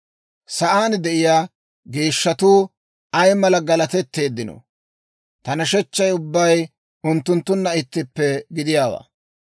Sa'aan de'iyaa geeshshatuu ay mala galatetteeddino! Ta nashechchay ubbay unttunttunna ittippe gidiyaawaa.